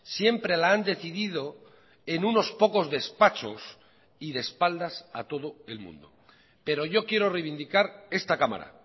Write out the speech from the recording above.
siempre la han decidido en unos pocos despachos y de espaldas a todo el mundo pero yo quiero reivindicar esta cámara